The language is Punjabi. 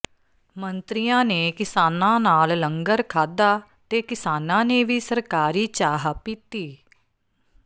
ਮੰਤਰੀਆਂ ਨੇ ਕਿਸਾਨਾਂ ਨਾਲ ਲੰਗਰ ਖਾਧਾ ਤੇ ਕਿਸਾਨਾਂ ਨੇ ਵੀ ਸਰਕਾਰੀ ਚਾਹ ਪੀਤੀ